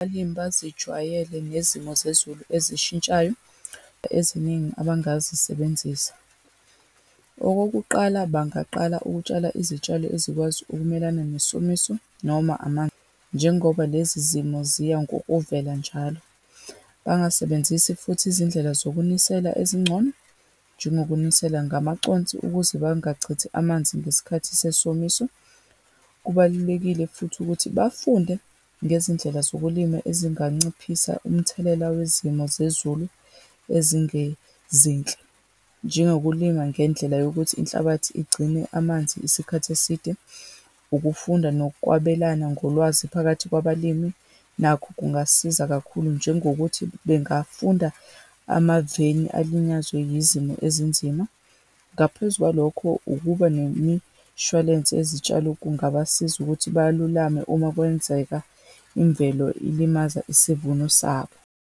Abalimi bazijwayele nezimo zezulu ezishintshayo eziningi abangazisebenzisa. Okokuqala, bangaqala ukutshala izitshalo ezikwazi ukumelana nesomiso, noma amanzi, njengoba lezi zimo ziya ngokuvela njalo. Bangasebenzisi futhi izindlela zokunisela ezingcono, njengokunisela ngamaconsi ukuze bangachithi amanzi ngesikhathi sesomiso. Kubalulekile futhi ukuthi bafunde ngezindlela zokulima ezinganciphisa umthelela wezimo zezulu ezingezinhle, njengokulima ngendlela yokuthi inhlabathi igcine amanzi isikhathi eside. Ukufunda nokwabelana ngolwazi phakathi kwabalimi nakho kungasiza kakhulu, njengokuthi bengafunda amaveni alinyazwe yizimo ezinzima. Ngaphezu kwalokho, ukuba nemishwalense yezitshalo kungabasiza ukuthi balulame uma kwenzeka imvelo ilimaza isivuno sabo.